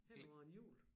Hen over en jul